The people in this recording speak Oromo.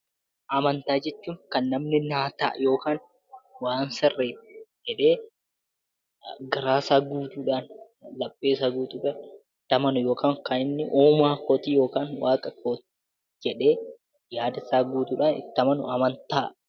Amantaa jechuun kan namni naa ta'a yookaan waan sirrii dha jedhee garaa isaa guutuudhaan, laphee isaa gutuudhaan itti amanu yookaan kan inni uumaa kooti yookaan waaqa kooti jedhee yaada isaa guutuudhaan itti amanu 'Amantaa'